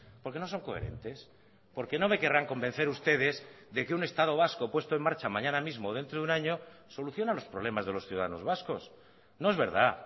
porque no son coherentes porque no me querrán convencer ustedes de que un estado vasco puesto en marcha mañana mismo o dentro de un año soluciona los problemas de los ciudadanos vascos no es verdad